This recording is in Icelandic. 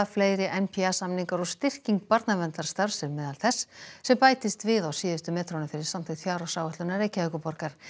fleiri n p a samningar og styrking barnaverndarstarfs er á meðal þess sem bættist við á síðustu metrunum fyrir samþykkt fjárhagsáætlunar Reykjavíkurborgar